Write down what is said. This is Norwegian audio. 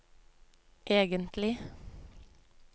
egentlig